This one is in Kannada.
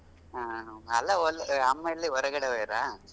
ಹ್ಮ್ ಅಲ್ಲಾ ಅಮ್ಮಾ ಎಲ್ಲಿ ಹೊರಗಡೆ ಹೋಗ್ಯಾರ.